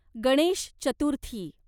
Ganesh Chaturthi